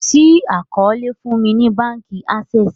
ṣii àkọọlẹ fún ní bánkì Access